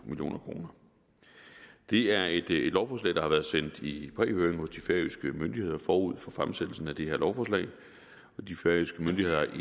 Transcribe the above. million kroner det er et lovforslag der har været sendt i prehøring hos de færøske myndigheder forud for fremsættelsen og de færøske myndigheder